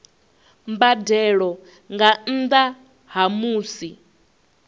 mbadelo nga nnda ha musi